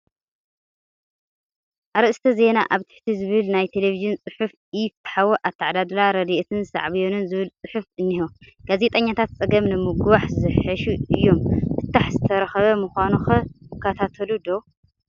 ኣርእስተ ዛና ኣብ ትሕቲ ዝብል ናይ ቴለብዥን ፅሑፍ ኢ-ፍትሓዊ ኣተዓዳድላ ረድኤትን ሳዕቤኑን ዝብል ፅሑፍ እኒሆ፡፡ ጋዜጠኛታት ፀገም ንምግዋሕ ዘሓሹ እዮም፡፡ ፍታሕ ዝተረኽበ ምዃኑ ኸ ይከታተሉ ዶ?